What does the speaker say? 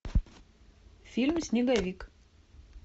фильм снеговик